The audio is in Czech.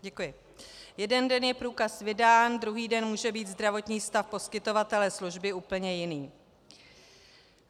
Jeden den je průkaz vydán, druhý den může být zdravotní stav poskytovatele služby úplně jiný.